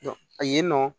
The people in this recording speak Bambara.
A yen nɔ